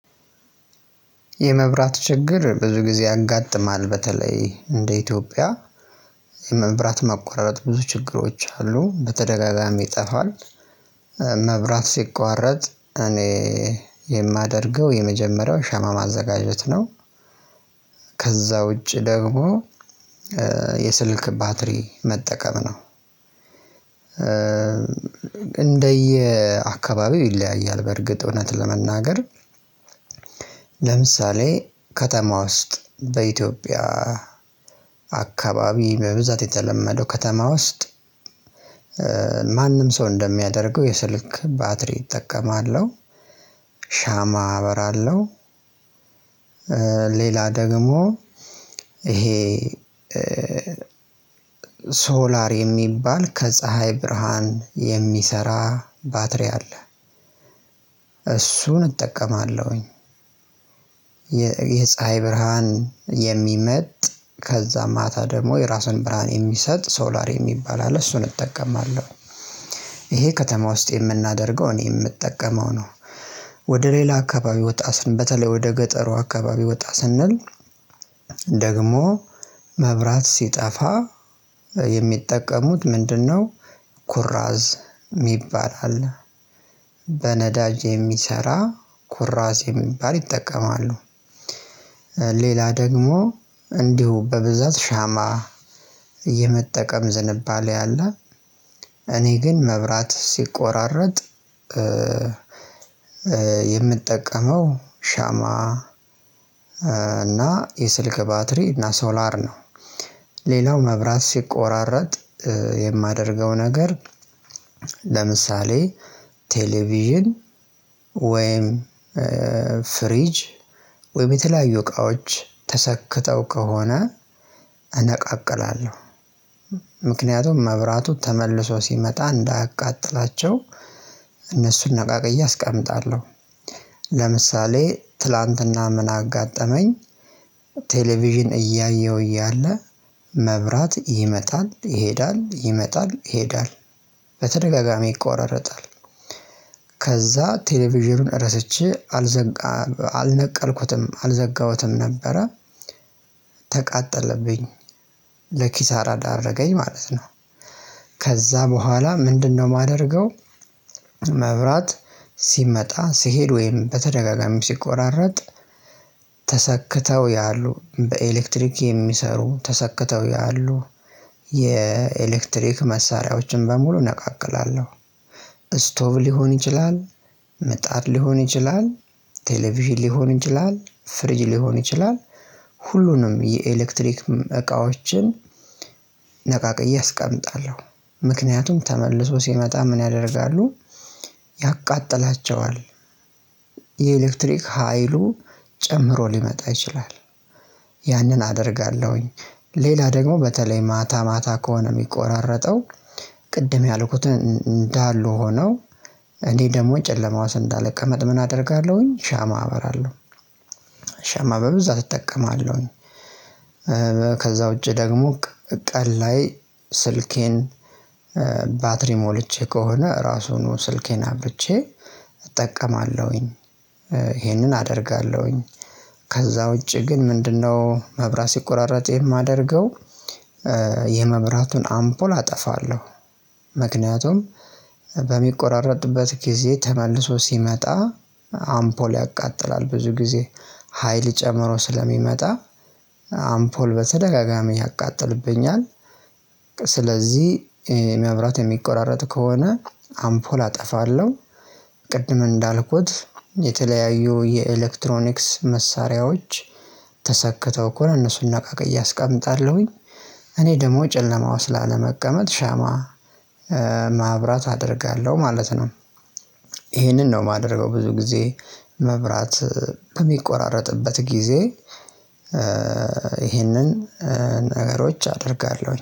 የመብራት ችግር ብዙ ጊዜ ያጋጥማል በተለይ እንደ ኢትዮጵያ የመብራት መቆራረጥ ብዙ ችግሮች አሉ። በተደጋጋሚ ይጠፋል። መብራት ሲቋረጥ እኔ የማደርገው የመጀመሪያው ሻማ ማዘጋጀት ነው። ከዛ ውጪ ደግሞ የስልክ ባትሪ መጠቀም ነው። እንደየ አካባቢው ይለያያል በእርግጥ እውነት ለመናገር ለምሳሌ ከተማ ውስጥ በኢትዮጵያ አካባቢ በብዛት የተለመደው ከተማ ውስጥ ማንም ሰው እንደሚያደርገው የስልክ ባትሪ እጠቀማለሁ ሻማ አበራለሁ ሌላ ደግሞ ይሄ ሶላር የሚባል ከፀሀይ ብርሃን የሚሰራ ባትሪ አለ እሱን እጠቀማለሁኝ የፀሀይ ብርሃን የሚመጥ ከዛ ማታ ደግሞ የራሱን ብርሃን የሚሰጥ ሶላር የሚባል አለ እሱን እጠቀማለሁ ይሄ ከተማ ውስጥ የምናደርገው እኔ የምጠቀመው ነው። ወደ ሌላ አካባቢ ወጣ ስንል በተለይ ወደ ገጠሩ አካባቢ ወጣ ስንል ደግሞ መብራት ሲጠፋ የሚጠቀሙት ምንድነው ኩራዝ ሚባል አለ። በነዳጅ የሚሰራ ኩራዝ የሚባል ይጠቀማሉ ሌላ ደግሞ እንዲሁ በብዛት ሻማ የመጠቀም ዝንባሌ አለ። እኔ ግን መብራት ሲቆራረጥ የምጠቀመው ሻማ እና የስልክ ባትሪ እና ሶላር ነው ሌላው መብራት ሲቆራረጥ የማደርገው ነገር ለምሳሌ ቴሌቪዥን ወይም ፍሪጅ ወይም የተለያዩ እቃዎች ተሰክተው ከሆነ እነቃቅላለሁ። መብራቱ ተመልሶ ሲመጣ እንዳያቃጥላቸው እነሱን ነቃቅዬ አስቀምጣለሁ። ለምሳሌ ትላንትና ምን አጋጠመኝ ቴሌቪዥን እያየሁ እያለ መብራት ይመጣል ይሄዳል ይመጣል ይሄዳል በተደጋጋሚ ይቆራረጣል። ከዛ ቴሌቪዥኑን ረስቼ አልዘጋ አልነቀልኩትም አልዘጋሁትም ነበረ ተቃጠለብኝ ለኪሳራ ዳረገኝ ማለት ነው። ከዛ በኋላ ምንድነው ማደርገው መብራት ሲመጣ ሲሄድ ወይም በተደጋጋሚ ሲቆራረጥ ተሰክተው ያሉ በኤሌክትሪክ የሚሰሩ ተሰክተው ያሉ የኤሌክትሪክ መሳሪያዎችን በሙሉ እነቃቅላለሁ። ስቶቭ ሊሆን ይችላል ምጣት ሊሆን ይችላል ቴሌቪዥን ሊሆን ይችላል ፍሪጅ ሊሆን ይችላል ሁሉንም የኤሌክትሪክ እቃዎችን ነቃቅዬ አስቀምጣለሁ። ምክንያቱም ተመልሶ ሲመጣ ምን ያደርጋሉ ያቃጥላቸዋል። የኤሌክትሪክ ሀይሉ ጨምሮ ሊመጣ ይችላል ያንን አደርጋለሁኝ ሌላ ደግሞ በተለይ ማታ ማታ ከሆነ ሚቆራረጠው ቅድም ያልኩት እንዳሉ ሆነው እኔ ደግሞ ጨለማ ውስጥ እንዳልቀመጥ ምን አደርጋለሁኝ ሻማ አበራለሁ። ሻማ በብዛት እጠቀማለሁኝ ከዛ ውጪ ደግሞ ቀን ላይ ስልኬን ባትሪ ሞልቼ ከሆነ እራሱኑ ስልኬን አብርቼ እጠቀማለሁኝ። ይሄንን አደርጋለሁኝ። ከዛ ውጪ ግን ምንድነው መብራት ሲቆራረጥ የማደርገው የመብራቱን አምፖል አጠፋለሁ። ምክንያቱም በሚቆራረጥበት ጊዜ ተመልሶ ሲመጣ አምፖል ያቃጥላል ብዙ ጊዜ። ሀይል ጨምሮ ስለሚመጣ አምፖል በተደጋጋሚ ያቃጥልብኛል። ስለዚህ መብራት የሚቆራረጥ ከሆነ አምፖል አጠፋለሁ ቅድም እንዳልኩት የተለያዩ የኤሌክትሮኒክስ መሳሪያዎች ተሰክተው ከሆነ እነሱን ነቃቅዬ አስቀምጣለሁኝ። እኔ ደግሞ ጨለማ ውስጥ ላለመቀመጥ ሻማ ማብራት አደርጋለሁ ማለት ነው። ይሄንን ነው ማደርገው ብዙ ጊዜ። መብራት በሚቆራረጥበት ጊዜ ይህንን ነገሮች አደርጋለሁኝ።